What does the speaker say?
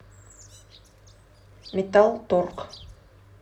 металл торг